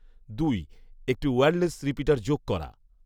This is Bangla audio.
দুই, একটি ওয়্যারলেস রিপিটার যোগ করা